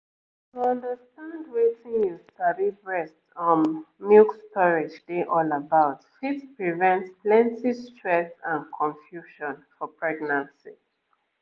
to understand wetin you sabi breast um milk storage dey all about fit prevent plenty stress and confusion for pregnancy